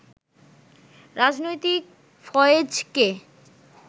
রাজনৈতিক ফয়েজকে